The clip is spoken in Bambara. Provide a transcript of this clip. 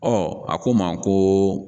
a ko ma ko